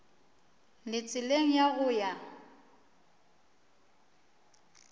le tseleng ya go ya